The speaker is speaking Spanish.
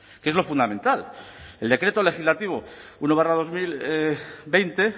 que es lo fundamental el decreto legislativo uno barra dos mil veinte